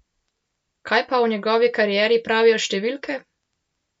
Kaj pa o njegovi karieri pravijo številke?